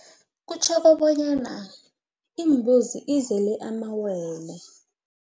Kutjho kobonyana imbuzi izele amawele.